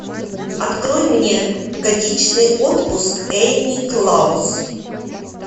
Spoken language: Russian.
открой мне годичный отпуск энни клаус